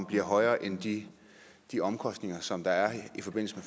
bliver højere end de de omkostninger som der er i forbindelse